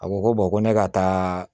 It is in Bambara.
A ko ko ko ne ka taa